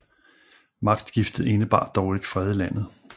Magtskiftet indebar dog ikke fred i landet